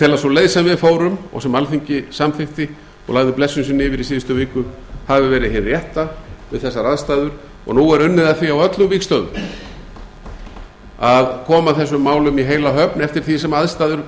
tel að sú leið sem við fórum og sem alþingi samþykkti og lagði blessun sína yfir í síðustu viku hafi verið hin rétta við þessar aðstæður og nú er unnið að því á öllum vígstöðvum að koma þessum málum í heila höfn eftir því sem aðstæður